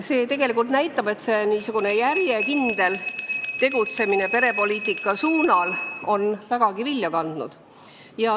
See näitab, et järjekindel tegutsemine perepoliitika vallas on vägagi vilja kandnud.